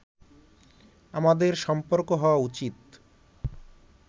আমাদের সম্পর্ক হওয়া উচিত